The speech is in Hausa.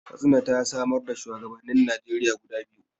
Katsina ta samar da shuwagabannin Najeriya guda biyu.